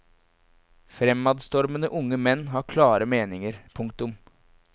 Fremadstormende unge menn har klare meninger. punktum